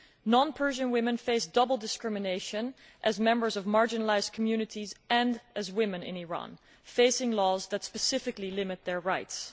Non Persian women face double discrimination, as members of marginalised communities and as women in Iran facing laws which specifically limit their rights.